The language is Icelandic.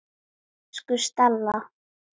Elsku Stella.